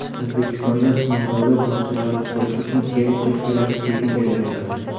O‘zbekistonda nodavlat bog‘chalarni qurish uchun yer uchastkalari tekinga beriladi.